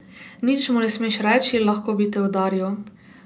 Nič mu ne smeš reči, lahko bi te udaril.